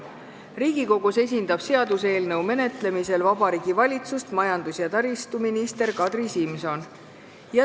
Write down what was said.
Riigikogus esindab seaduseelnõu menetlemisel Vabariigi Valitsust majandus- ja taristuminister Kadri Simson.